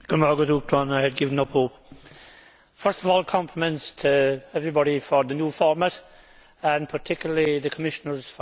First of all, compliments to everybody for the new format and particularly to the Commissioners for their accurate and brief responses.